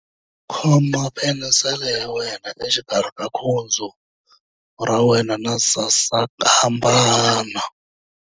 Khoma penisele ya wena exikarhi ka khudzu ra wena na sasankambana.